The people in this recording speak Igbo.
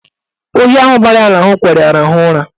Oyi ahụ bara ya n'ahụ kwere ya rahụọ ụra.